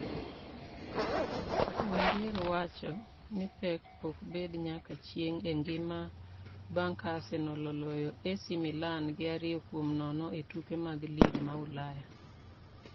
Wenger wacho ni pek ok bed nyaka chieng' e ngima bang' ka Arsenal oloyo AC Milan gi ariyo kuom nono e tuke mag lig ma ulaya